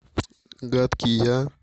гадкий я